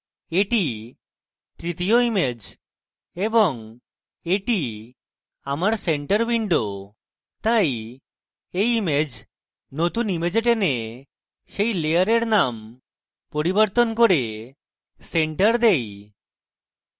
এটি তৃতীয় image এবং এটি আমার center window তাই এই image নতুন image টেনে সেই layer নাম বদলে center center দেই